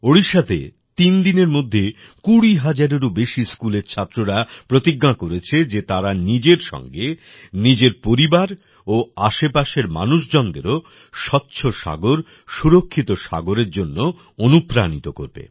ওড়িষ্যাতে তিনদিনের মধ্যে কুড়ি হাজারেরও বেশি স্কুলের ছাত্ররা প্রতিজ্ঞা করেছে যে তারা নিজের সঙ্গে নিজের পরিবার ও আশেপাশের মানুষজনদেরও স্বচ্ছ সাগর সুরক্ষিত সাগরের জন্য অনুপ্রাণিত করবে